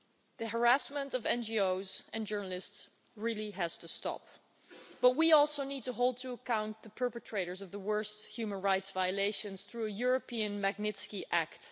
The harassment of NGOs and journalists really has to stop, but we also need to hold to account the perpetrators of the worst human rights violations through a European Magnitsky Act'.